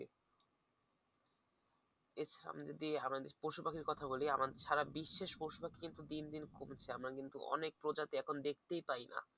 এর সামনে যদি আমরা পশু পাখির কথা বলি সারা বিশ্বের পশু পাখি কিন্তু দিন দিন কমছে। আমরা কিন্তু অনেক প্রজাতি এখন দেখতেই পাইনা।